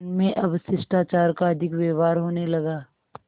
उनमें अब शिष्टाचार का अधिक व्यवहार होने लगा